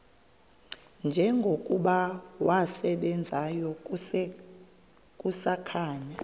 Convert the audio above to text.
njengokuba wasebenzayo kusakhanya